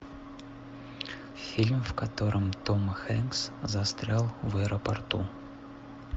фильм в котором том хэнкс застрял в аэропорту